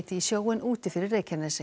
í sjóinn úti fyrir Reykjanesi